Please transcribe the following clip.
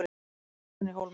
Fyrstu árin í Hólminum